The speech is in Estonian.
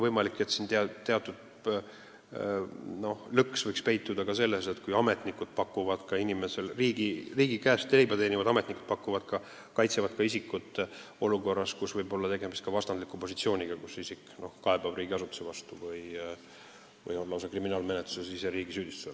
Võimalik, et teatud lõks võinuks peituda ka olukorras, kui riigi käest leiba saav ametnik peaks kaitsema isikut olukorras, kus isik on esitanud kaebuse riigiasutuse vastu või siis on ise kriminaalmenetluse all, sest riik süüdistab teda.